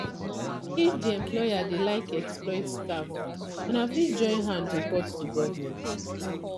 if di employer dey like exploit staff una fit join hand report to government